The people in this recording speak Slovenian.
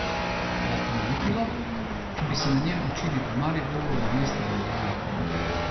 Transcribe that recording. Vas bi motilo, če bi se na njem učili v Mariboru namesto v Ljubljani?